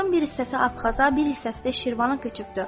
Xalqın bir hissəsi Abxaza, bir hissəsi də Şirvana köçübdür.